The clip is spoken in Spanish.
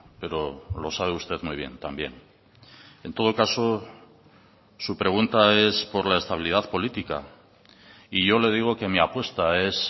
pero lo sabe usted muy bien también en todo caso su pregunta es por la estabilidad política y yo le digo que mi apuesta es